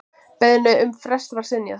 Beiðni um frest var synjað.